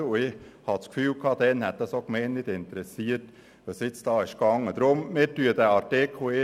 Ich hatte den Eindruck, dass dies die Gemeinde damals gar nicht interessiert hätte.